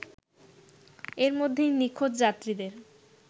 এর মধ্যেই নিখোঁজ যাত্রীদের